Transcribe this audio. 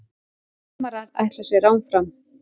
Framarar ætla sér áfram